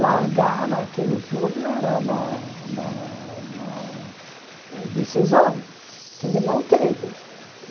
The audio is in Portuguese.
Largar aquilo tudo era uma uma uma decisão que ele não teve.